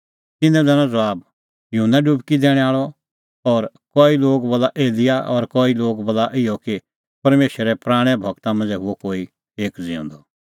तिन्नैं दैनअ ज़बाब युहन्ना डुबकी दैणैं आल़अ और कई लोग बोला एलियाह और कई बोला इहअ कि परमेशरे पराणैं गूरा मांझ़ै हुअ कोई एक ज़िऊंदअ